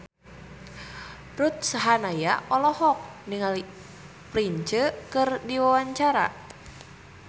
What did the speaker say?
Ruth Sahanaya olohok ningali Prince keur diwawancara